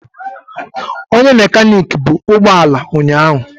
Onye mekaniki bu ụgbọ ala ụnyahụ.